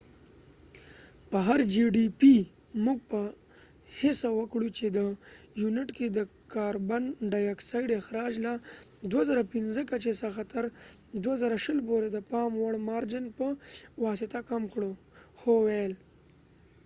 "موږ به هڅه وکړو چې د gdp په هر یونت کې د کاربن ډای آکسایډ اخراج له ۲۰۰۵ کچې څخه تر ۲۰۲۰ پورې د پام وړ مارجن په واسطه کم کړو"، هو وویل